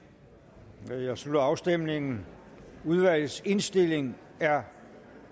der jeg slutter afstemningen udvalgets indstilling er